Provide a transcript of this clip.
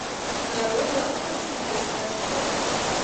нарой лавка чудес аш де